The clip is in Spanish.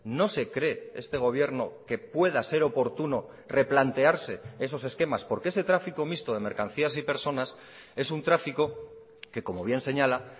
no se cree este gobierno que pueda ser oportuno replantearse esos esquemas porque ese tráfico mixto de mercancías y personas es un tráfico que como bien señala